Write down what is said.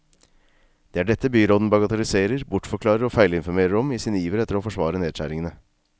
Det er dette byråden bagatelliserer, bortforklarer og feilinformerer om i sin iver etter å forsvare nedskjæringene.